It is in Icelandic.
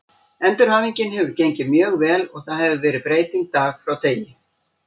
Endurhæfingin hefur gengið mjög vel og það hefur verið breyting dag frá degi.